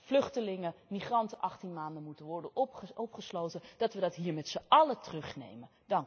vluchtelingen, migranten 18 maanden moeten worden opgesloten, dat we die hier met z'n allen terugnemen.